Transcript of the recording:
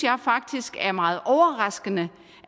faktisk det er meget overraskende